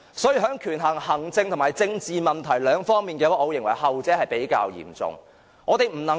所以，在權衡行政和政治問題兩方面，我認為後者是較為嚴重的。